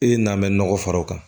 E n'an bɛ nɔgɔ far'o kan